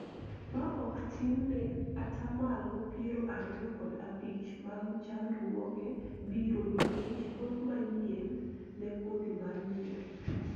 ma ok tin ne atamalo piero ariyo kod abich mag chandruoge biro nikech both manyien ne kodhi mar nyuol